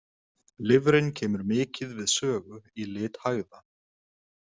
Lifrin kemur mikið við sögu í lit hægða.